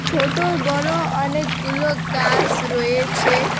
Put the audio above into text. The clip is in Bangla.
ছোট বড় অনেকগুলো গাস রয়েছে।